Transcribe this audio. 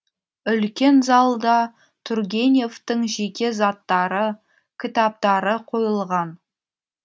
үлкен залда тургеневтің жеке заттары кітаптары қойылған